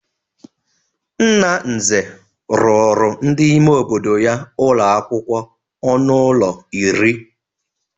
Nna Nze rụrụ ndị ime obodo ya ụlọakwụkwọ ọnụ ụlọ iri.